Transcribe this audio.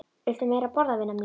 Viltu meira að borða, vina mín